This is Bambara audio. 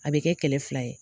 A bɛ kɛ kɛlɛ fila ye.